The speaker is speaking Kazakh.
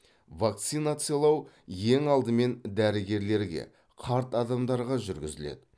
вакцинациялау ең алдымен дәрігерлерге қарт адамдарға жүргізіледі